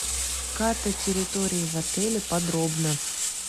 карта территории в отеле подробно